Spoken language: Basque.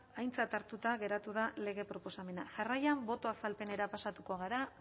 aintzat hartuta geratu da lege proposamena jarraian boto azalpenera pasatuko gara